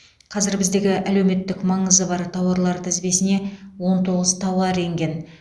қазір біздегі әлеуметтік маңызы бар тауарлар тізбесіне он тоғыз тауар енген